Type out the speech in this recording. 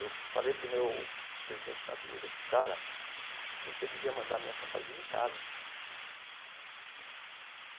Eu falei para o meu presidente na Avenida, cara, você devia mandar a minha fantasia em casa.